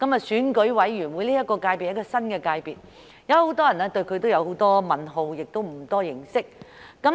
選委會界別是一個新的界別，有很多人對它也有很多問號，不太認識。